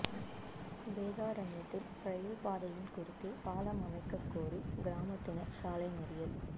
வேதாரண்யத்தில் ரயில் பாதையின் குறுக்கே பாலம் அமைக்கக் கோரி கிராமத்தினா் சாலை மறியல்